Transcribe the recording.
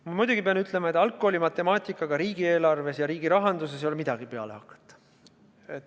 Ma pean muidugi ütlema, et algkooli matemaatikaga ei ole riigieelarve puhul ja riigirahanduses midagi peale hakata.